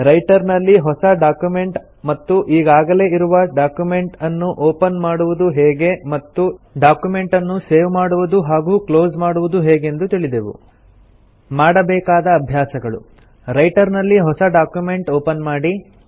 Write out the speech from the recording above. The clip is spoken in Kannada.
ರೈಟರ್ ನಲ್ಲಿ ಹೊಸ ಡಾಕ್ಯುಮೆಂಟ್ ಮತ್ತು ಈಗಾಗಲೆ ಇರುವ ಡಕ್ಯುಮೆಂಟನ್ನು ಒಪನ್ ಮಾಡುವುದು ಹೇಗೆ ಮತ್ತು ಡಾಕ್ಯುಮೆಂಟನ್ನು ಸೇವ್ ಮಾಡುವುದು ಹಾಗೂ ಕ್ಲೊಸ್ ಮಾಡುವುದು ಹೇಗೆಂದು ತಿಳಿದೆವು ಮಾಡಬೇಕಾದ ಅಭ್ಯಾಸಗಳು - ರೈಟರ್ ನಲ್ಲಿ ಹೊಸ ಡಾಕ್ಯುಮೆಂಟ್ ಒಪನ್ ಮಾಡಿ